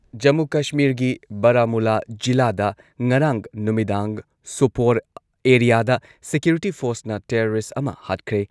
ꯖꯃꯨ ꯀꯁꯃꯤꯔꯒꯤ ꯕꯔꯥꯃꯨꯜꯂꯥ ꯖꯤꯂꯥꯗ ꯉꯔꯥꯡ ꯅꯨꯃꯤꯗꯥꯡ ꯁꯣꯄꯣꯔ ꯑꯦꯔꯤꯌꯥꯗ ꯁꯤꯀ꯭ꯌꯨꯔꯤꯇꯤ ꯐꯣꯔꯁꯅ ꯇꯦꯔꯣꯔꯤꯁꯠ ꯑꯃ ꯍꯥꯠꯈ꯭ꯔꯦ꯫